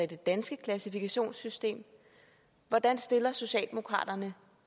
det danske klassifikationssystem hvordan stiller socialdemokraterne